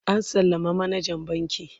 an sallama manajan bankin